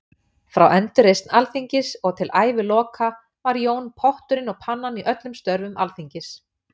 Frá endurreisn Alþingis og til æviloka var Jón potturinn og pannan í öllum störfum Alþingis.